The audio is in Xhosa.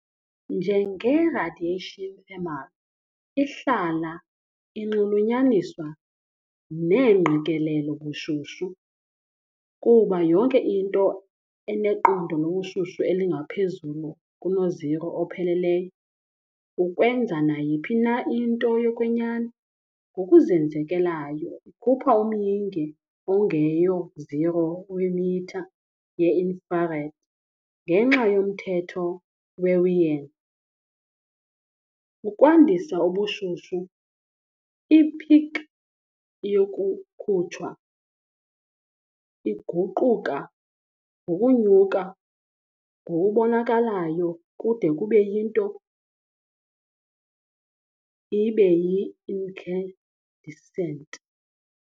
Njenge "radiation thermal", ihlala inxulunyaniswa neengqikelelo "ubushushu", kuba yonke into eneqondo lobushushu elingaphezulu kunoziro opheleleyo, ukwenza nayiphi na into yokwenyani, ngokuzenzekelayo ikhupha umyinge ongeyo-zero wemitha ye-infrared, ngenxa yomthetho weWien. , ukwandisa ubushushu, i-peak yokukhutshwa iguquka ngokunyuka ngokubonakalayo kude kube yinto ibe yi-incandescent.